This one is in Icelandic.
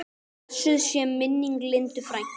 Blessuð sé minning Lindu frænku.